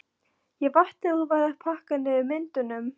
Ég vakti og var að pakka niður myndunum.